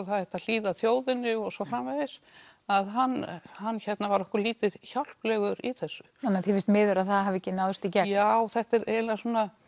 það ætti að hlýða þjóðinni og svo framvegis að hann hann var okkur lítið hjálplegur í þessu þannig þér finnst miður að það hafi ekki náðst í gegn já þetta er eiginlega